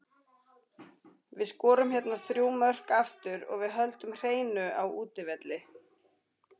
Við skorum hérna þrjú mörk aftur og við höldum hreinu á útivelli.